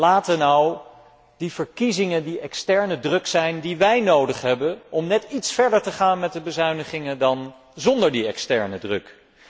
Laten nu die verkiezingen die externe druk zijn, die wij nodig hebben om net iets verder te gaan met de bezuinigingen dan zonder die externe druk.